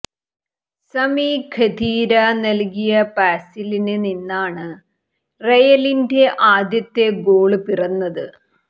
സമി Khedira നല്കിയ പാസില് നിന്നാണ് റയലിന്റെ ആദ്യ ഗോള് പിറന്നത്